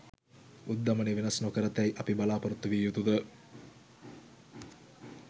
උද්ධමනය වෙනස් නොකරතැයි අපි බලාපොරොත්තු විය යුතුද?